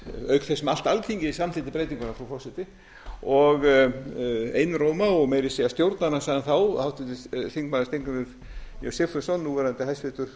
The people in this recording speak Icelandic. auk þess sem allt alþingi samþykkti breytinguna frú forseti einróma og meira að segja stjórnarandstaðan þá háttvirtur þingmaður steingrímur j sigfússon núverandi hæstvirtum